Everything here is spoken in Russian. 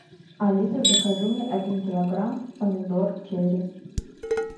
алиса закажи мне один килограмм помидор черри